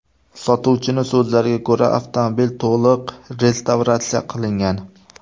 Sotuvchining so‘zlariga ko‘ra, avtomobil to‘liq restavratsiya qilingan.